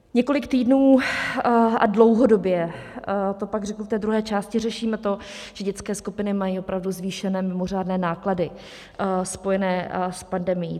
Několik týdnů a dlouhodobě - to pak řeknu v té druhé části - řešíme to, že dětské skupiny mají opravdu zvýšené mimořádné náklady spojené s pandemií.